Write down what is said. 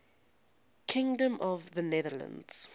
kingdom of the netherlands